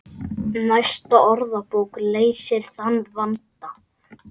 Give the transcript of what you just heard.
Næsta orðabók leysir þann vanda.